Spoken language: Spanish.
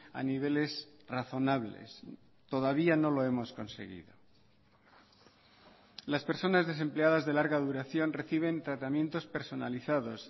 a niveles razonables todavía no lo hemos conseguido las personas desempleadas de larga duración reciben tratamientos personalizados